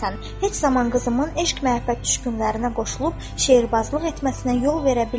Heç zaman qızımın eşq-məhəbbət düşkünlərinə qoşulub şeirbazlıq etməsinə yol verə bilmərəm."